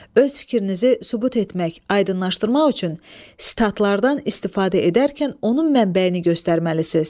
Öz fikrinizi sübut etmək, aydınlaşdırmaq üçün sitatlardan istifadə edərkən onun mənbəyini göstərməlisiniz.